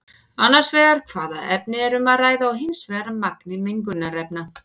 Annars vegar hvaða efni er um að ræða og hins vegar magni mengunarefna.